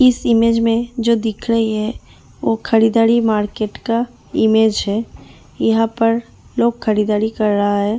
इस इमेज में जो दिख रही है वो खरीदारी मार्केट का इमेज है यहां पर लोग खरीदारी कर रहा है ।